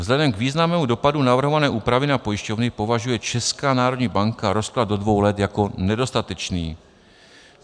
Vzhledem k významnému dopadu navrhované úpravy na pojišťovny považuje Česká národní banka rozklad do dvou let jako nedostatečný.